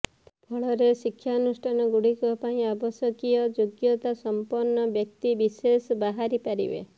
ଫଳରେ ଶିଳ୍ପାନୁଷ୍ଠାନଗୁଡ଼ିକ ପାଇଁ ଆବଶ୍ୟକୀୟ ଯୋଗ୍ୟତା ସମ୍ପନ୍ନ ବ୍ୟକ୍ତିବିଶେଷ ବାହାରିପାରିବେ